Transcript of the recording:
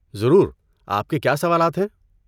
ضرور، آپ کے کیا سوالات ہیں؟